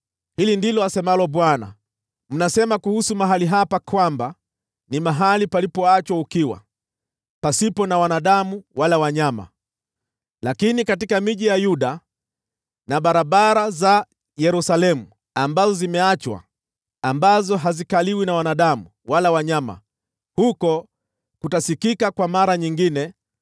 “Hili ndilo asemalo Bwana : ‘Mnasema kuhusu mahali hapa kwamba, “Ni mahali palipoachwa ukiwa, pasipo na wanadamu wala wanyama.” Lakini katika miji ya Yuda na barabara za Yerusalemu ambazo zimeachwa, ambazo hazikaliwi na wanadamu wala wanyama, huko kutasikika kwa mara nyingine